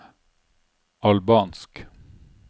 albansk